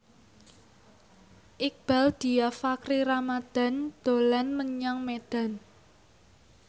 Iqbaal Dhiafakhri Ramadhan dolan menyang Medan